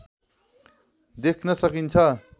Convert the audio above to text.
देख्न सकिन्छ